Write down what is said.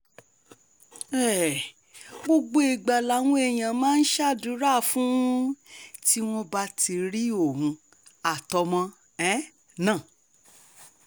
um gbogbo ìgbà làwọn èèyàn máa ń ṣàdúrà fún un tí wọ́n bá ti rí òun àtọmọ um náà